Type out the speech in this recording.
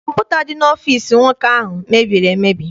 Kọmputa dị n'ọfịịsi nwoke ahụ mebiri emebi.